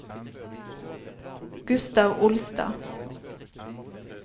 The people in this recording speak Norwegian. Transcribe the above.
Gustav Olstad